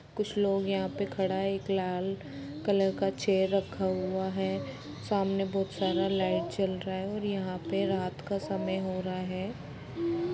कुछ लोग यहाँ पे खड़ा है एक लाल कलर का चेयर रखा हुआ है सामने बहुत सारा लाइट जल रहा है और यहाँ पे रात का समय हो रहा है।